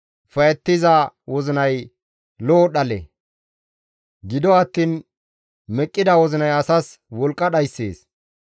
Ufayettiza wozinay lo7o dhale; gido attiin meqqida wozinay asas wolqqa dhayssees.